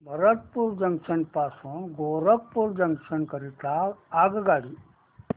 Bharatpur junction पासून Gorakhpur junction करीता आगगाडी